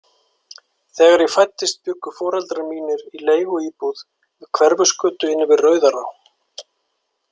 Þegar ég fæddist bjuggu foreldrar mínir í leiguíbúð við Hverfisgötu inni við Rauðará.